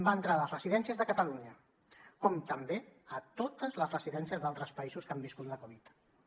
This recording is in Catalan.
va entrar a les residències de catalunya com també a totes les residències d’altres països que han viscut la covid dinou